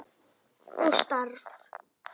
Og staf.